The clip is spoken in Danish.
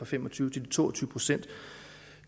fem og tyve til de to og tyve procent